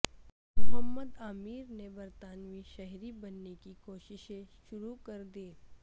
محمد عامر نے برطانوی شہری بننے کی کوششیں شروع کردیں